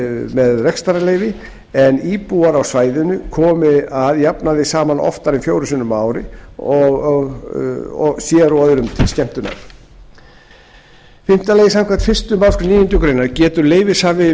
með rekstrarleyfi en íbúar á svæðinu komi að jafnaði saman oftar en fjórum sinnum á ári sér og öðrum til skemmtunar fimmta samkvæmt fyrstu málsgrein níundu grein getur leyfishafi